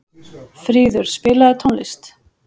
Fríður, spilaðu tónlist.